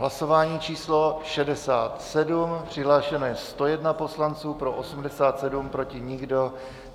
Hlasování číslo 67, přihlášeno je 101 poslanců, pro 87, pro nikdo.